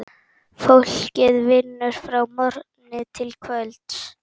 Fólkið vinnur frá morgni til kvölds.